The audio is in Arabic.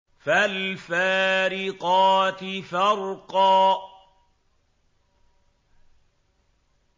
فَالْفَارِقَاتِ فَرْقًا